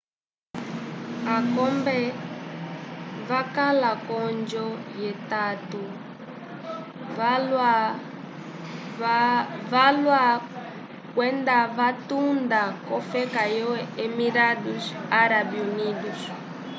akombe vakala k'oonjo yetato valwa kwendavatunda k'ofeka yo emirados árabe unidos